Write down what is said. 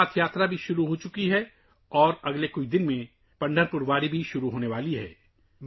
امرناتھ یاترا بھی شروع ہو چکی ہے اور اگلے چند دنوں میں پنڈھارپور واری بھی شروع ہونے والی ہے